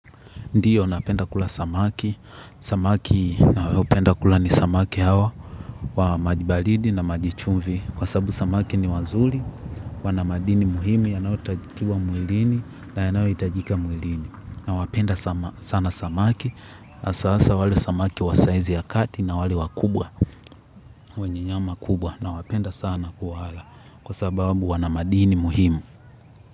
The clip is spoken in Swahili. Ndiyo napenda kula samaki, samaki nao penda kula ni samaki hawa wa maji baridi na maji chumvi kwa sababu samaki ni wazuri, wana madini muhimu, yanayo takiwa mwilini na yanayo hitajika mwilini nawapenda sana samaki hasa hasa wale wa saizi ya kati na wale wakubwa wenye nyama kubwa nawapenda sana kuwala kwa sababu wana madini muhimu.